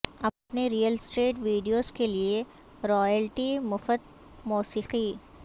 اپنے real estate videos کے لئے رائلٹی مفت موسیقی